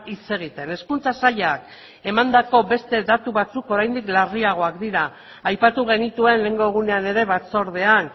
hitz egiten hezkuntza sailak emandako beste datu batzuk oraindik larriagoak dira aipatu genituen lehengo egunean ere batzordean